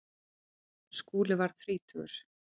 Skúli varð þrítugur.